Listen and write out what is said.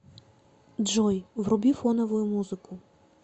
джой вруби фоновую музыку